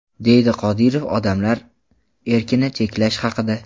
deydi Qodirov odamlar erkini cheklash haqida.